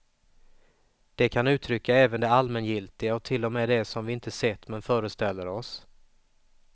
Det kan uttrycka även det allmängiltiga och till och med det som vi inte sett men föreställer oss.